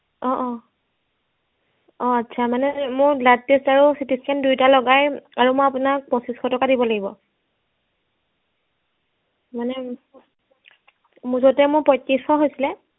অ অ অ আচ্ছা মানে মোৰ blood test আৰু CT scan দুয়োটা লগাই আৰু মই আপোনাক পঁচিছশ টকা দিব লাগিব মানে মুঠতে মোৰ পয়ত্ৰিছশ হৈছিলে